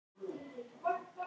Malla, hækkaðu í hátalaranum.